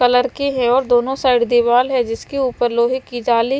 colour के है और दोनों साइड दीवाल है जिसके ऊपर लोहे की जाली--